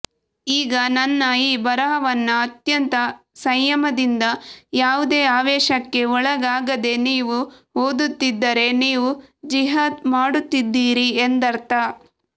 ಈಗ ನನ್ನ ಈ ಬರಹವನ್ನ ಅತ್ಯಂತ ಸಂಯಮದಿಂದ ಯಾವುದೇ ಆವೇಶಕ್ಕೆ ಒಳಗಾಗದೆ ನೀವು ಓದುತ್ತಿದ್ದರೆ ನೀವು ಜಿಹಾದ್ ಮಾಡುತ್ತಿದ್ದೀರಿ ಎಂದರ್ಥ